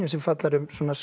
sem fjallar um